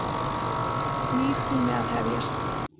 Nýr tími að hefjast.